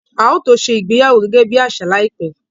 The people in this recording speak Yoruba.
A ó tó ṣe ìgbéyàwó gẹ́gẹ́ bí àṣà láìpẹ́